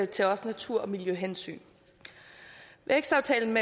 til også natur og miljøhensyn vækstaftalen